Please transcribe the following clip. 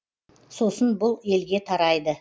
сосын бұл елге тарайды